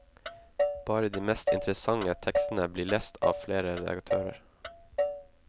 Bare de mest interessante tekstene blir lest av flere redaktører.